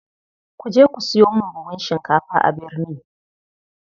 Kuje ku siyo min buhun shinkafa a birni.